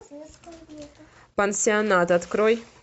пансионат открой